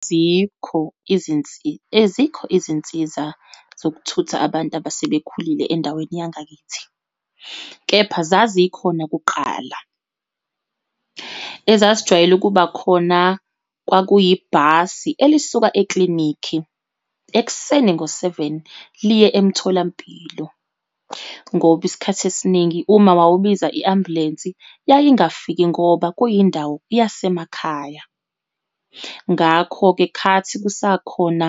Azikho ezikho izinsiza zokuthutha abantu abasebekhulile endaweni yangakithi, kepha zazikhona kuqala. Ezazijwayele ukuba khona, kwakuyibhasi elisuka eklinikhi ekuseni ngo-seven, liye emtholampilo, ngoba isikhathi esiningi uma wawubiza i-ambulensi yayingafiki ngoba kuyindawo yasemakhaya. Ngakho-ke khathi kusakhona